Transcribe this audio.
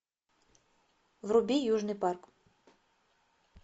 вруби южный парк